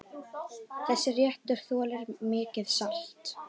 Þessi réttur þolir mikið salt.